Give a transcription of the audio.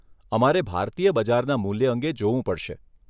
અમારે ભારતીય બજારના મૂલ્ય અંગે જોવું પડશે.